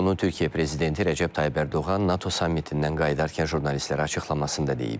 Bunu Türkiyə prezidenti Rəcəb Tayyib Ərdoğan NATO sammitindən qayıdarkən jurnalistlərə açıqlamasında deyib.